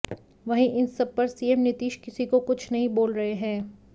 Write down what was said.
वहीं इन सब पर सीएम नीतीश किसी को कुछ नहीं बोल रहे हैं